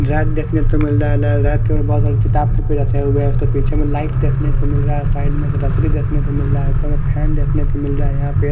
lab देखने को मिल रहा है लैब में बहुत सारे किताबें रखे हुए हैं और पीछे में लाइट देखने को मिल रहा है साइड में डस्टबिन देखने को मिल रहा है ऊपर फैन देखने को मिल रहा है यहाँ पे --